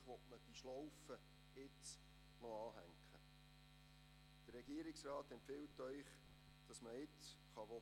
Dies mit Blick auf die Zukunft: Was will man mit Thorberg?